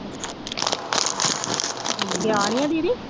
ਗਿਆ ਨਹੀਂ ਹੈ ਦੀਦੀ